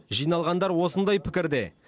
жиналғандар осындай пікірде